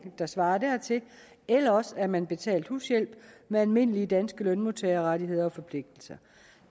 der svarer dertil eller også er man betalt hushjælp med almindelige danske lønmodtagerrettigheder og forpligtelser